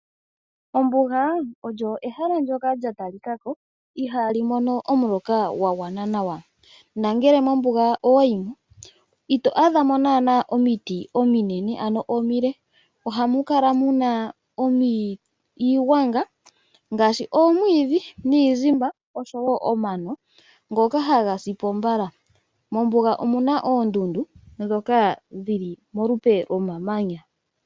Ombuga ehala ndyoka ihali mono omuloka gwa gwana nawa. Nongele mombuga owa yimo ito adhamo omiti omile, ohamu adhika iigwanga nomano mbyoka hayi sipo mbala. Mombuga ohamu adhika oondundu ndhoka dhili polupe lwomamanya.